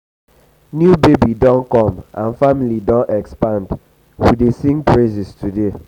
new baby don come and family don expand we dey sing praises today.